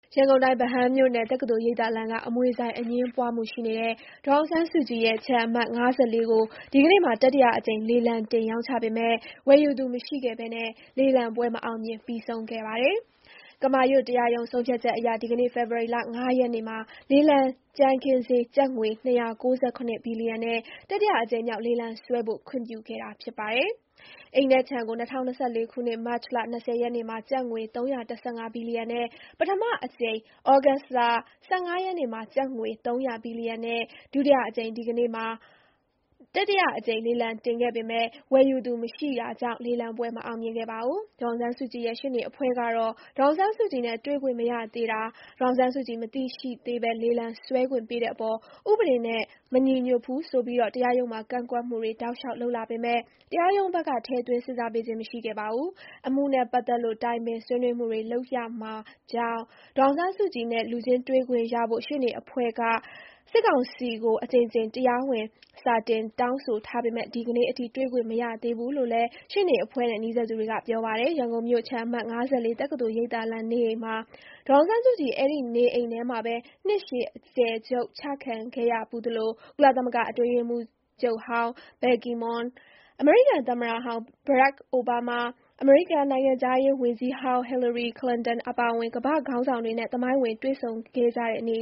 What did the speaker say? ရန်ကုန်တိုင်း ဗဟန်းမြို့နယ် တက္ကသိုလ်ရိပ်သာလမ်းက အမွေဆိုင် အငြင်းပွားမှုရှိနေတဲ့ ဒေါ်အောင်ဆန်းစုကြည်ရဲ့ ခြံအမှတ် (၅၄) ကိုဒီကနေ့မှာ တတိယအကြိမ်လေလံတင်ရောင်းချပေမဲ့ ၀ယ်ယူသူမရှိခဲ့ဘဲလေလံပွဲ မအောင်မြင်ပြီးဆုံးခဲ့ပါတယ်။ ကမာရွတ်တရားရုံးဆုံးဖြတ်ချက်အရ ဒီကနေ့ဖေဖော်၀ါရီ ၅ရက်နေ့မှာ လေလံကြမ်းခင်းဈေး ကျပ်ငွေ ၂၉၇ ဘီယီလံနဲ့ တတိယအကြိမ်မြောက် လေလံဆွဲဖို့ခွင့်ပြုခဲ့တာဖြစ်ပါတယ်။ အိမ်နဲ့ ခြံကို ၂၀၂၄ ခုနှစ် မတ်လ ၂၀ ရက်နေ့မှာ ကျပ်ငွေ ၃၁၅ ဘီလီယံနဲ့ ပထမကြိမ်၊ ဩဂုတ်လ ၁၅ ရက်နေ့မှာ ကျပ်ငွေ ၃၀၀ ဘီလီယံနဲ့ ဒုတိယအကြိမ် ဒီကနေ့မှာတတိယအကြိမ်လေလံတင်ခဲ့ပေမယ့် ဝယ်ယူသူ မရှိတာကြောင့် လေလံပွဲ မအောင်မြင်ခဲ့ပါဘူး။ ဒေါ်အောင်ဆန်းစုကြည်ရဲ့ ရှေ့နေအဖွဲ့ကတော့ ဒေါ်အောင်ဆန်းစုကြည်နဲ့ တွေ့ခွင့်မရသေးတာ၊ ဒေါ်အောင်ဆန်းစုကြည် မသိရှိသေးဘဲ လေလံဆွဲခွင့်ပေးတဲ့အပေါ် ဥပေဒေနဲ့ မညီညွတ်ဘူးဆိုပြီး တရားရုံးမှာ ကန့်ကွက်မှုတွေ တောက်လျှောက်လုပ်လာပေမယ့် တရားရုံးဘက်က ထည့်သွင်းစဉ်းစားပေးခြင်း မရှိခဲ့ပါဘူး။ အမှုနဲ့ပတ်သက်လို့ တိုင်ပင်ဆွေးနွေးမှုတွေ လုပ်ရမှာကြောင့် ဒေါ်အောင်ဆန်းစုကြည်နဲ့ လူချင်းတွေ့ခွင့်ရဖို့ ရှေ့နေအဖွဲ့က စစ်ကောင်စီကို အကြိမ်ကြိမ် တရားဝင်စာတင် တောင်းဆိုထားပေမယ့် ဒီနေ့အထိ တွေ့ခွင့်မရသေးဘူးလို့လည်း ရှေ့နေအဖွဲ့နဲ့ နီးစပ်သူတွေက ပြောပါတယ်။ ရန်ကုန်မြို့ ခြံအမှတ် ၅၄ တက္ကသိုလ်ရိပ်သာလမ်းနေအိမ်မှာ ဒေါ်အောင်ဆန်းစုကြည် အဲ့ဒီ့နေအိမ်ထဲမှာပဲ နှစ်ရှည်အကျယ်ချုပ်ချခံခဲ့ရဖူးသလို၊ ကုလသမဂ္ဂအတွင်းရေးမှူးချုပ်ဟောင်း Ban Ki-moon, အမေရိကန်သမ္မတဟောင်း Barack Obama, အမေရိကန်နိုင်ငံခြားရေးဝန်ကြီးဟောင်း Hillary Clinton အပါအဝင် ကမ္ဘာ့ခေါင်းဆောင်တွေနဲ့ သမိုင်းဝင်တွေ့ဆုံခဲ့ကြတဲ့ နေ